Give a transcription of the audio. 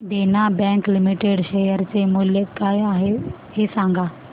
देना bank limited share चे मूल्य काय आहे हे सांगा